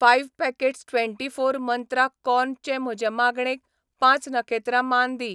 Five packets twenty four Mantra corn चे म्हजे मागणेक पांच नखेत्रां मान दी .